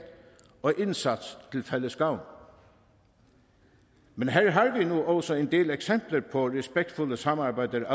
og indsats til fælles gavn men her har vi nu også allerede en del eksempler på respektfuldt samarbejde